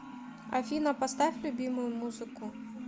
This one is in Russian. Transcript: афина поставь любимую музыку